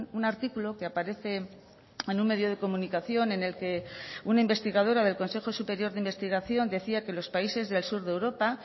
un artículo que aparece en un medio de comunicación en el que una investigadora del consejo superior de investigación decía que los países del sur de europa